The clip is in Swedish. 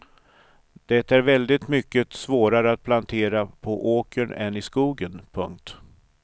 Det är väldigt mycket svårare att plantera på åkern än i skogen. punkt